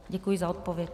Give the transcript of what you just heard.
Děkuji za odpověď.